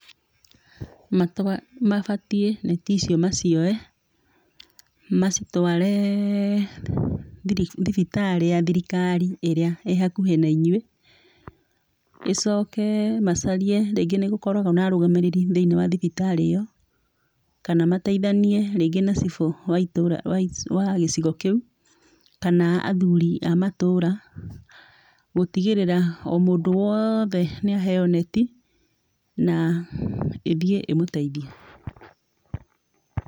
Matua mabatiĩ neti icio macioe, macitware thibitarĩ ya thirikari ĩrĩa ĩhakuhĩ nainyuĩ. Ĩcoke macarie, ringĩ nĩgũkoragwo na arũgamĩrĩri thĩinĩ wa thibitarĩ ĩyo. Kana mateithanie rĩngĩ na cibũ wa itũũra, wa gĩcigo kĩu. Kana athuri a matũra. Gũtigĩrĩra o mũndũ woothe nĩaheyo neti na ĩthiĩ ĩmũteithie.